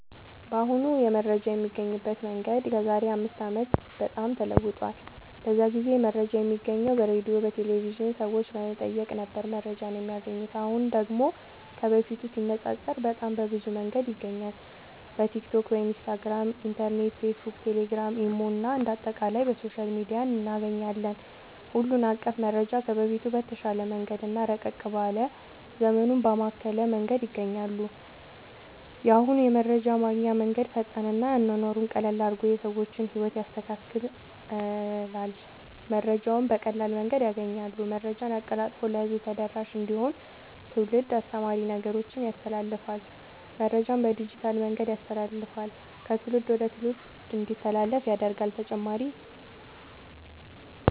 በአሁኑ የመረጃ የሚገኝበት መንገድ ከዛሬ አምስት አመት በጣም ተለውጧል። በዛ ጊዜ መረጃ የሚገኘው በሬድዮ፣ በቴሌቭዥን፣ ሰዎች በመጠየቅ ነበር መረጃን የማያገኙት። አሁን ደግሞ ከበፊቱ ሲነፃፀር በጣም በብዙ መንገድ ይገኛል በቲክቶክ፣ ኢንስታግራም፣ ኢንተርኔት፣ ፌስብክ፣ ቴሌግራም፣ ኢሞ እና አንደ አጠቃላይ በሶሻል ሚዲያ እናገኛለን ሁሉን አቀፍ መረጃ ከበፊቱ በተሻለ መንገድ እና ረቀቅ ባለ ዘመኑን ባማከለ መንገድ ያገኛሉ። የአሁኑ የመረጃ ማግኛ መንገድ ፈጣን እና አኗኗሩን ቀለል አድርጎ የሰዎችን ህይወት ያስተካክላል መረጃውን በቀላል መንገድ ያገኛሉ። መረጃን አቀላጥፎ ለህዝብ ተደራሽ እንዲሆን ትውልድ አስተማሪ ነገሮችን ያስተላልፍል። መረጃን በዲጂታል መንገድ ያስተላልፍል ከትውልድ ወደ ትውልድ እንዲተላለፍ ያደርጋል…ተጨማሪ ይመልከቱ